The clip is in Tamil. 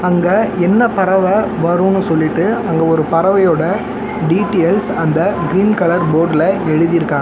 அங்க என்ன பறவ வருனு சொல்லிட்டு அங்க ஒரு பறவையோட டீடியல்ஸ் அந்த கிரீன் கலர் போட்ல எழுதிருக்காங்க.